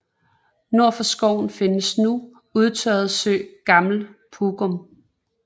Nord for skoven findes den nu udtørrede sø Gammel Pugum